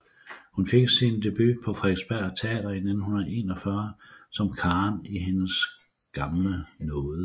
Hun fik sin debut på Frederiksberg Teater i 1941 som Karen i Hendes gamle nåde